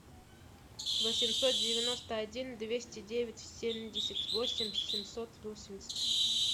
восемьсот девяносто один двести девять семьдесят восемь семьсот восемьдесят